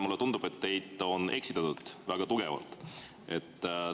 Mulle tundub, et teid on väga tugevalt eksitatud.